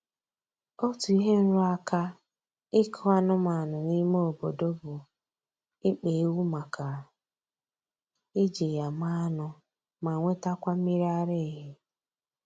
Otu ihe nrụaka ịkụ anụmanụ n'ime obodo bụ ịkpa ewu maka iji ya mee anụ ma nwetakwa mmiri ara ehi